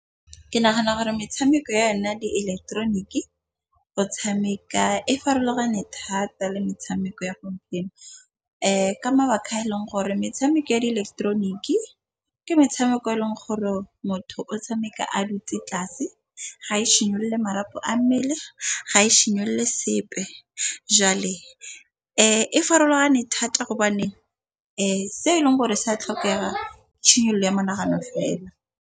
Ke nagana gore metshameko ya yona di eleketeroniki go tshameka e farologane thata le metshameko ya gompieno. Ka mabaka a e leng gore metshameko ya eleketeroniki ke metshameko e leng gore motho o tshameka a dutse tlase. Ga e simolole marapo a mmele, ga e simolole sepe jale e farologane thata gobane se e leng gore sa tlhokega ya monagano fela.